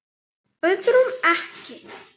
Öðrum ekki.